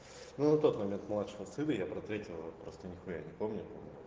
ну на тот момент младшего сына я про третьего просто нихуя не помню